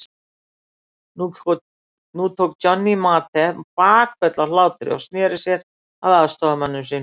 Nú tók Johnny Mate bakföll af hlátri og sneri sér að aðstoðarmönnum sínum.